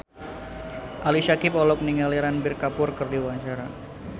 Ali Syakieb olohok ningali Ranbir Kapoor keur diwawancara